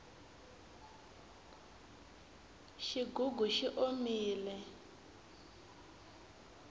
xigugu xi omile